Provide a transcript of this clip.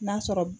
N'a sɔrɔ